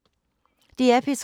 DR P3